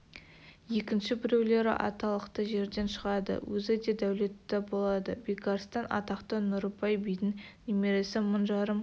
екінші біреулері аталықты жерден шығады өзі де дәулетті болады бекарыстан атақты нұрыбай бидің немересі мың жарым